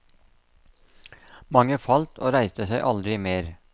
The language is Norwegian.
Mange falt og reiste seg aldri mer.